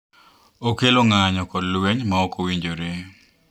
Okelo ng’anjo kod lweny ma ok owinjore.